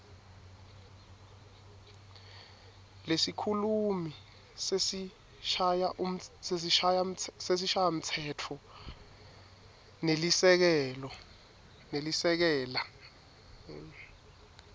lesikhulumi sesishayamtsetfo nelisekela